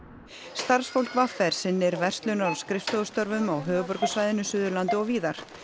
starfsfólk v r sinnir verslunar og skrifstofustörfum á höfuðborgarsvæðinu Suðurlandi og víðar